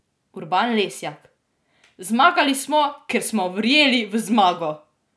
Urban Lesjak: "Zmagali smo, ker smo verjeli v zmago.